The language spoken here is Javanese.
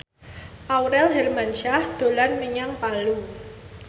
Aurel Hermansyah dolan menyang Palu